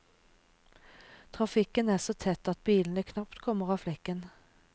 Trafikken er så tett at bilene knapt kommer av flekken.